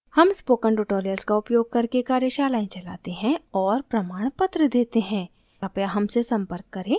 हम spoken tutorials का उयोग करके कार्यशालाएं चलाते हैं और प्रमाणपत्र देते हैं कृपया हमसे संपर्क करें